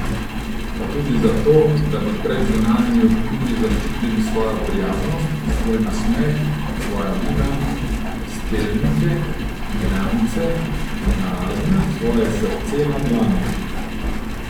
Pa tudi zato, da bi pred zunanjimi vplivi zaščitili svojo prijaznost, svoj nasmeh, svoja vina, steljnike, janjce na ražnju, svoje srce na dlani.